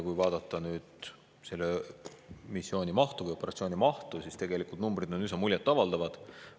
Kui vaadata nüüd selle operatsiooni mahtu, siis tegelikult numbrid on üsna muljet avaldavad.